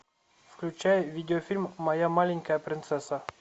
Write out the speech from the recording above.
включай видеофильм моя маленькая принцесса